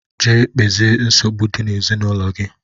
Gaa kpezie nsogbu dị n'ezinaụlọ gị!